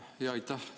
Aitäh!